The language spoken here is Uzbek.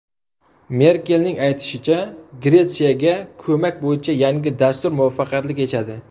Merkelning aytishicha, Gretsiyaga ko‘mak bo‘yicha yangi dastur muvaffaqiyatli kechadi.